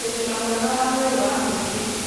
ũgima mwega wa mwĩrĩ wa mũingĩ: